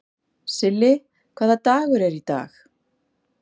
Silli, hvaða dagur er í dag?